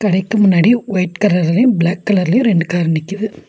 கடைக்கு முன்னாடி ஒயிட் கரர்லயு பிளாக் கலர்லயு ரெண்டு கார் நிக்கிது.